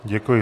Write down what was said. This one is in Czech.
Děkuji.